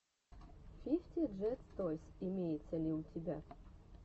фифти джет тойс имеется ли у тебя